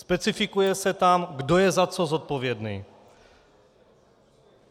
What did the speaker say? Specifikuje se tam, kdo je za co zodpovědný.